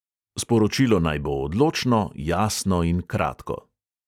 Sporočilo naj bo odločno, jasno in kratko.